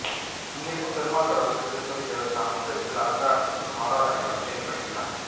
இங்கிருக்கும் பெருமாள் கடவுளுக்கு திருப்பதி தேவஸ்தான முறையில் அலங்காரங்களும் ஆராதனைகளும் செய்யப்படுகின்றன